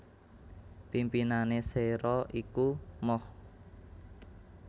Pimpinané Séra iku Moch